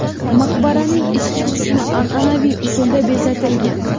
Maqbaraning ichki qismi an’anaviy usulda bezatilgan.